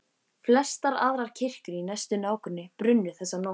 Flestar aðrar kirkjur í næsta nágrenni brunnu þessa nótt.